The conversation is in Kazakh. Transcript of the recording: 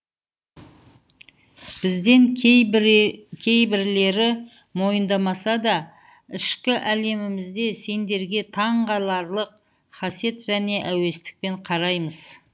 бізден кейбірлері мойындамаса да ішкі әлемімізде сендерге таңғаларлық хасед және әуестікпен қараймыз